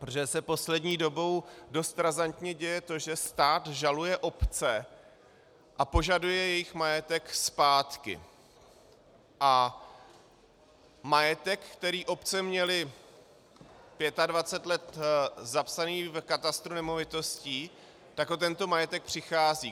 Protože se poslední dobou dost razantně děje to, že stát žaluje obce a požaduje jejich majetek zpátky a majetek, který obce měly 25 let zapsaný v katastru nemovitostí, tak o tento majetek přicházejí.